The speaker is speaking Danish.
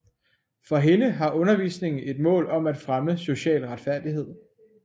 For hende har undervisningen et mål om at fremme social retfærdighed